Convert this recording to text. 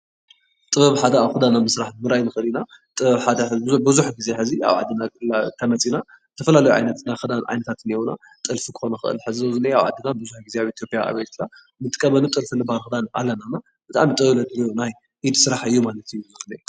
ጥበብ ሓደ ኣብ ክዳና ምስራሕ ዉራይና ንክእል ኢናጥበብ ሓደ ኣብ ዓድና ቡዙሕ ግዜሕዚ እንተመፂና ዝተፈላለዩ ዓይነት ናይ ክዳን ዓይነታት እኒአዉጥልፊ ክኮን ይክእል፡፡ ሕዚ ንአ ኣብ ዓድና ቡዙሕ ግዜ ኣብ ኢትዮጰያ ኣብ ኤርትራ ንጥቀመሉ ጥልፊ ድማ ኣነ ድማ ብጣዕሚ ጥበበቻ ኢድ ስራሕ ዕዮ ማለት እዩ፡፡